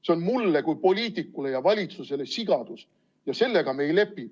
See on mulle kui poliitikule ja valitsusele tehtud sigadus ja sellega me ei lepi.